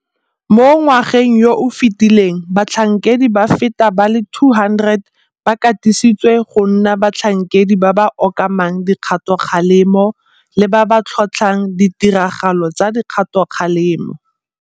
Mo ngwageng yo o fetileng batlhankedi ba feta ba le 200 ba katisitswe go nna batlhankedi ba ba okamang dikgatokgalemo le ba ba tlhotlhang ditiragalo tsa dikgatokgalemo.